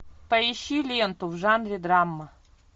поищи ленту в жанре драма